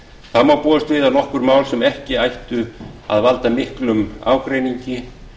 þá má búast við að nokkur mál sem ekki ættu að valda miklum ágreiningi